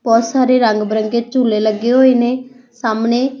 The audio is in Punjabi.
ਬਹੁਤ ਸਾਰੇ ਰੰਗ ਬਿਰੰਗੇ ਝੂਲੇ ਲੱਗੇ ਹੋਏ ਨੇ ਸਾਹਮਣੇ --